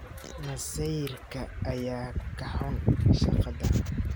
Masayrka ayaa ku xun shaqada.